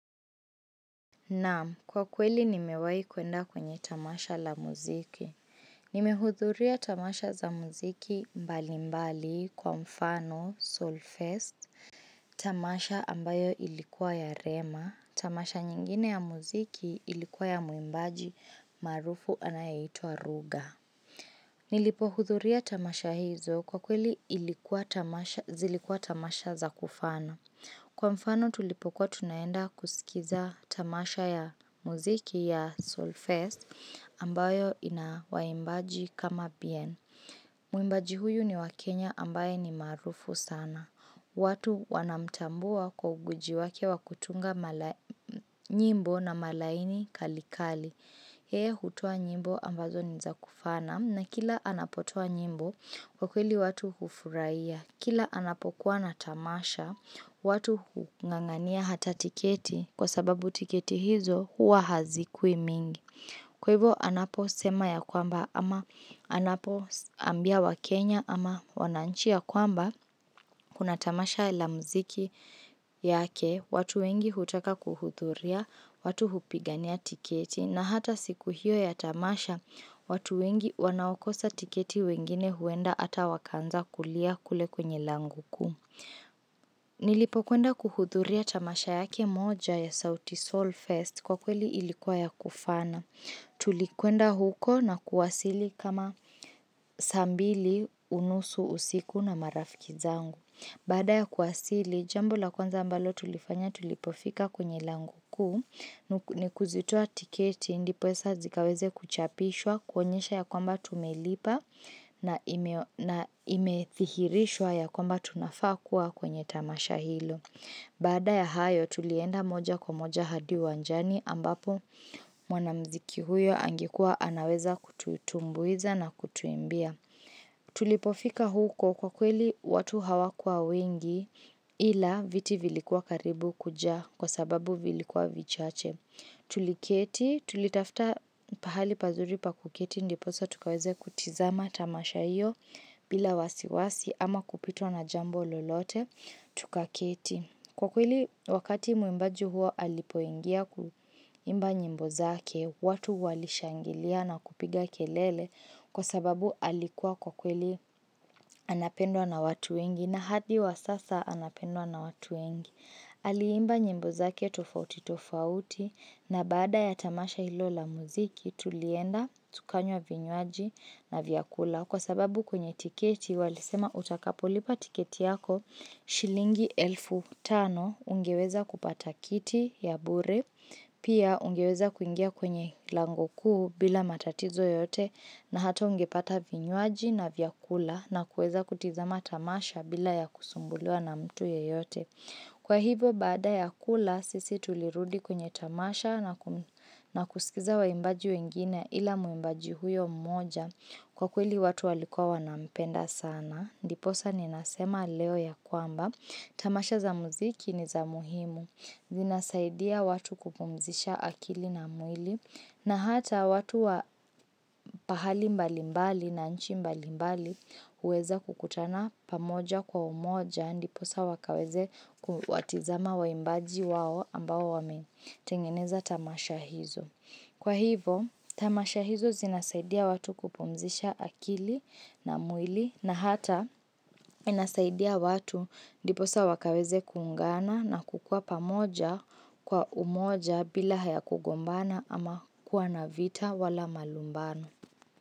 Naam, kwa kweli nimewahi kwenda kwenye tamasha la muziki. Nimehudhuria tamasha za muziki mbali mbali kwa mfano, soul fest, tamasha ambayo ilikuwa ya rema, tamasha nyingine ya muziki ilikuwa ya muimbaji marufu anayaitwa ruga. Nilipo hudhuria tamasha hizo kwa kweli zilikuwa tamasha za kufana. Kwa mfano tulipokuwa tunaenda kusikiza tamasha ya muziki ya Soulfest ambayo ina waimbaji kama bien. Muimbaji huyu ni wa Kenya ambaye ni maarufu sana. Watu wanamtambua kwa ugwiji wake wa kutunga nyimbo na malaini kali kali. Heye hutoa nyimbo ambazo nizakufana na kila anapotoa nyimbo kwa kweli watu hufuraiya. Kila anapokuwa na tamasha, watu hungangania hata tiketi kwa sababu tiketi hizo hua hazikui mingi. Kwa hivyo anapo sema ya kwamba ama anapo ambia wakenya ama wananch ya kwamba kuna tamasha la mziki yake, watu wengi hutaka kuhuthuria, watu hupigania tiketi, na hata siku hiyo ya tamasha, watu wengi wanaokosa tiketi wengine huenda hata wakanza kulia kule kwenye lango kuu. Nilipo kwenda kuhudhuria tamasha yake moja ya sauti Soul Fest kwa kweli ilikuwa ya kufana. Tulikwenda huko na kuwasili kama saa mbili, unusu, usiku na marafiki zangu. Baada ya kuwasili, jambo la kwanza ambalo tulifanya tulipofika kwenye lango kuu, ni kuzitoa tiketi, ndiposa zikaweze kuchapishwa, kuonyesha ya kwamba tumelipa na imethihirishwa ya kwamba tunafakua kwenye tamasha hilo. Baada ya hayo, tulienda moja kwa moja hadi uwanjani ambapo mwanamziki huyo angekuwa anaweza kututumbuiza na kutuimbia. Tulipofika huko kwa kweli watu hawakua wengi ila viti vilikuwa karibu kuja kwa sababu vilikuwa vichache Tuliketi tulitafta pahali pazuri pakuketi ndiposa tukaweze kutizama tamasha iyo bila wasiwasi ama kupitwao na jambo lolote tukaketi Kwa kweli wakati mwimbaji huo alipoingia kuimba nyimbo zake, watu walishangilia na kupiga kelele kwa sababu alikuwa kwa kweli anapendwa na watu wengi na hadi wa sasa anapendwa na watu wengi. Aliimba nyimbo zake tofauti tofauti na baada ya tamasha ilo la muziki tulienda tukanywa vinywaji na vyakula kwa sababu kwenye tiketi walisema utakapulipa tiketi yako shilingi elfu tano ungeweza kupata kiti ya bure pia ungeweza kuingia kwenye lango kuu bila matatizo yoyote na hatao ungepata vinywaji na vyakula na kueza kutizama tamasha bila ya kusumbuliwa na mtu yeyote. Kwa hivyo, baada ya kula, sisi tulirudi kwenye tamasha na kusikiza wa imbaji wengine ila mwimbaji huyo mmoja kwa kweli watu walikuwa wanampenda sana. Ndiposa ni nasema leo ya kwamba, tamasha za muziki ni za muhimu, zinasaidia watu kupumzisha akili na mwili, na hata watu wa pahali mbali mbali na nchi mbali mbali huweza kukutana pamoja kwa umoja ndiposa wakaweze kuwatizama waimbaji wao ambao wametengeneza tamasha hizo. Kwa hivo, tamasha hizo zinasaidia watu kupumzisha akili na mwili na hata inasaidia watu ndiposa wakaweze kuungana na kukua pamoja kwa umoja bila haya kugombana ama kuwa na vita wala malumbano.